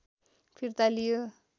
फिर्ता लियो